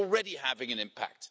It is already having an impact.